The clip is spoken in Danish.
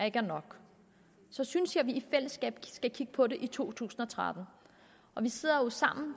ikke er nok synes jeg vi i fællesskab skal kigge på det i to tusind og tretten vi sidder sammen